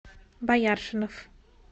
бояршинов